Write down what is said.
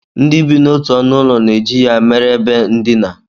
Ndị bi n'otu ọnụụlọ na-eji ya mere ebe ndina